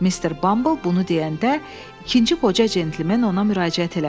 Mister Bumble bunu deyəndə ikinci qoca centlimen ona müraciət elədi.